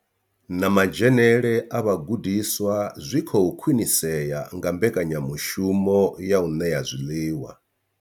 Na madzhenele a vhagudiswa zwi khou khwinisea nga mbekanyamushumo ya u ṋea zwiḽiwa.